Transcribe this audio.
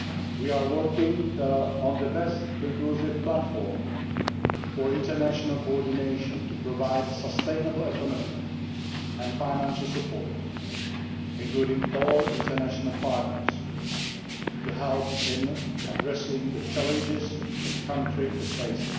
We are working on the best inclusive platform for international coordination to provide sustainable economic and financial support, including all international partners, to help in addressing the challenges the country faces.